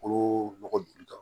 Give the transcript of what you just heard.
Kolo nɔgɔ don